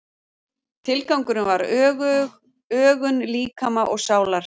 Tilgangurinn var ögun líkama og sálar.